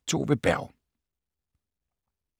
Af Tove Berg